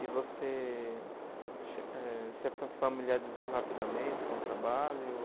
E você eh se fa familiarizou rapidamente com o trabalho?